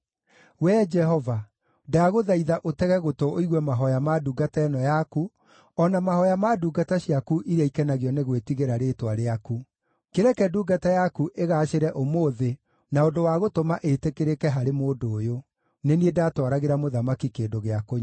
Wee, Jehova, ndagũthaitha ũtege gũtũ ũigue mahooya ma ndungata ĩno yaku, o na mahooya ma ndungata ciaku iria ikenagio nĩ gwĩtigĩra rĩĩtwa rĩaku. Kĩreke ndungata yaku ĩgaacĩre ũmũthĩ na ũndũ wa gũtũma ĩtĩkĩrĩke harĩ mũndũ ũyũ.” Nĩ niĩ ndatwaragĩra mũthamaki kĩndũ gĩa kũnyua.